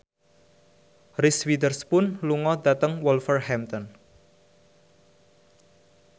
Reese Witherspoon lunga dhateng Wolverhampton